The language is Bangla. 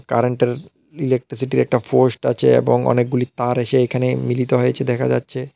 কারেন্টের ইলেকট্রিসিটির একটা পোস্ট আছে এবং অনেকগুলি তার এসে এইখানে মিলিত হয়েছে দেখা যাচ্ছে।